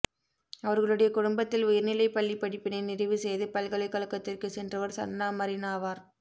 அவர்களுடைய குடும்பத்தில் உயர்நிலைப்பள்ளிப் படிப்பினை நிறைவு செய்து பல்கலைக்கழகத்திற்குச் சென்றவர் சன்னா மரின் ஆவார்